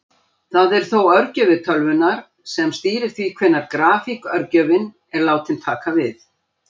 Það er þó örgjörvi tölvunnar sem stýrir því hvenær grafík-örgjörvinn er látinn taka við.